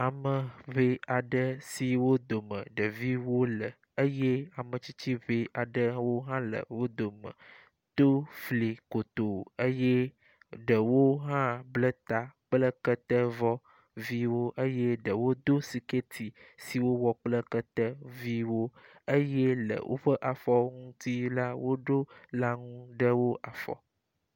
Ame ʋɛ aɖe si wo dome ɖeviwo le eye ametsitsi ʋɛ aɖe wohã le wo dome to fli kotoo eye ɖewo hã ble ta kple ketevɔ viwo eye ɖewo do sikɛti si wowɔ kple kete viwo eye le woƒe afɔwo ŋuti la woɖo laŋu ɖe wo afɔ.